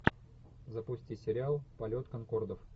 запусти сериал полет конкордов